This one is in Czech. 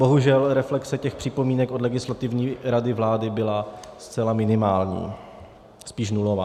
Bohužel, reflexe těch připomínek od Legislativní rady vlády byla zcela minimální, spíš nulová.